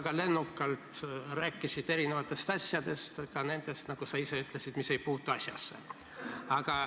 Sa rääkisid väga lennukalt erinevatest asjadest, ka nendest, nagu sa ise ütlesid, mis ei puutu asjasse.